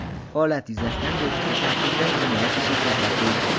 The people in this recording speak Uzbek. Holat yuzasidan tegishli tartibda jinoyat ishi qo‘zg‘atildi.